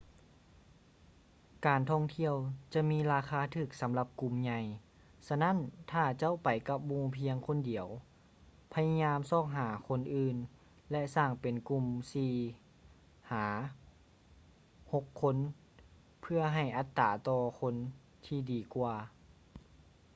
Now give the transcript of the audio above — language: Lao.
ການທ່ອງທ່ຽວຈະມີລາຄາຖືກສຳລັບກຸ່ມໃຫຍ່ ສະນັ້ນຖ້າເຈົ້າໄປກັບໝູ່ພຽງຄົນດຽວ ພະຍາຍາມຊອກຫາຄົນອື່ນ ແລະ ສ້າງເປັນກຸ່ມສີ່ ຫາ ຫົກຄົນເພື່ອໃຫ້ອັດຕາຕໍ່ຄົນທີ່ດີກວ່າ